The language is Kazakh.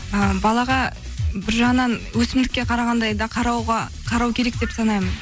і балаға бір жағынан өсімдікке қарағандай қарау керек деп санаймын